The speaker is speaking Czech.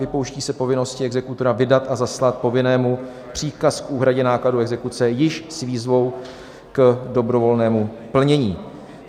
Vypouští se povinnosti exekutora vydat a zaslat povinnému příkaz k úhradě nákladů exekuce již s výzvou k dobrovolnému plnění.